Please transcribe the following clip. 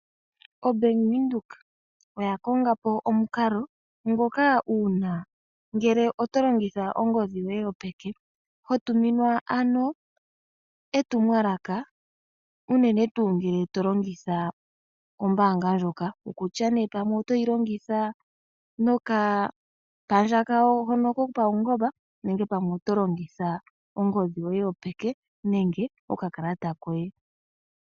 Obank Windhoek oya kongapo omukalo ngoka uuna ngele oto longitha ongodhi yoye yopeke ho tuminwa ano etumwalaka unene tuu ngele to longitha ombanga ndjoka okutya nee pamwe oto yi longitha nokapandja kawo hono kopaungomba nenge pamwe oto longitha ongodhi yoye yopeke nenge okakalata koye.